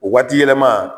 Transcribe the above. O waati yɛlɛma